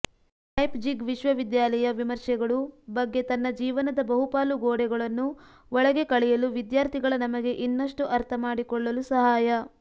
Leipzig ವಿಶ್ವವಿದ್ಯಾಲಯ ವಿಮರ್ಶೆಗಳು ಬಗ್ಗೆ ತನ್ನ ಜೀವನದ ಬಹುಪಾಲು ಗೋಡೆಗಳನ್ನು ಒಳಗೆ ಕಳೆಯಲು ವಿದ್ಯಾರ್ಥಿಗಳ ನಮಗೆ ಇನ್ನಷ್ಟು ಅರ್ಥಮಾಡಿಕೊಳ್ಳಲು ಸಹಾಯ